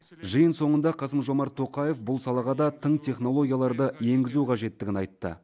жиын соңында қасым жомарт тоқаев бұл салаға да тың технологияларды енгізу қажеттігін айтты